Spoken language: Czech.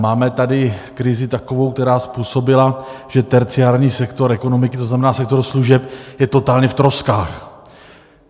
Máme tady krizi takovou, která způsobila, že terciární sektor ekonomiky, to znamená sektor služeb, je totálně v troskách.